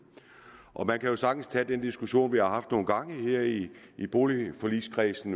man kan jo sagtens tage den diskussion vi har haft nogle gange her i i boligforligskredsen